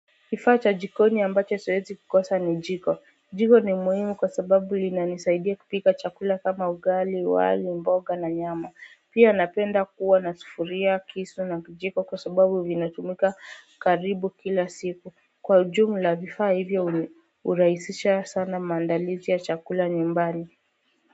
Kifaa cha jikoni ambacho siwezi kukosa ni jiko jiko ni muhimu kwa sababu linanisaidia kupika chakula kama ugali wali mboga na nyama pia napenda kuwa na sufuria kisu na kijiko kwa sababu vinatumika karibu kila siku kwa ujumla vifaa hivyo hurahisisha sana maandalizi ya chakula nyumbani.